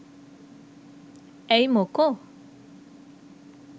ඇයි මොකෝ